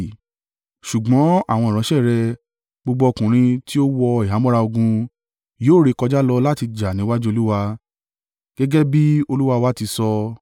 Ṣùgbọ́n àwọn ìránṣẹ́ rẹ, gbogbo ọkùnrin tí ó wọ ìhámọ́ra ogun, yóò rékọjá lọ láti jà níwájú Olúwa; gẹ́gẹ́ bí olúwa wa ti sọ.”